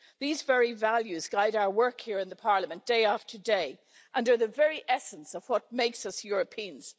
These very values guide our work here in the Parliament day after day, and are the very essence of what makes us Europeans.